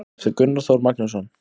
eftir gunnar þór magnússon